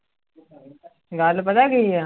ਗੱਲ ਪਤਾ ਕੀ ਹੈ।